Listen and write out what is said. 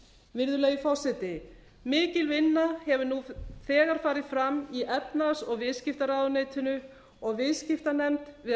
virðulegi forseti mikil vinna hefur nú þegar farið fram í efnahags og viðskiptaráðuneytinu og viðskiptanefnd við